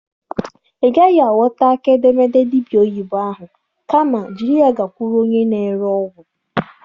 Ị gaghị aghọta aka edemede dibịa oyibo ahụ. Kama jiri ya gakwuru onye na-ere ọgwụ.